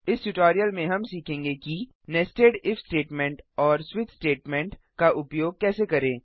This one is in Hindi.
इस ट्यूटोरियल में हम सीखेंगे कि नेस्टेड इफ स्टेटमेंट और स्विच स्विच स्टेटमेंट का उपयोग कैसे करें